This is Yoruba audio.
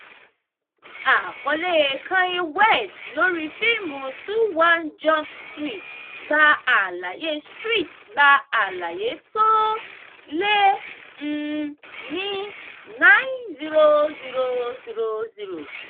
àkọlé kanye west lórí fíìmù twenty one jump street gba àlàyé street gba àlàyé tó lé um ní ninety thousand.